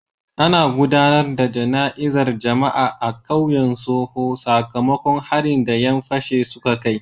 Ana gudanar da jana'izar jama'a a kauyen Soho sakamakon harin da 'yan fashin suka kai.